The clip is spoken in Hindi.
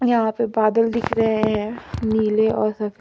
यहां पे बादल दिख रहे हैं नीले और स--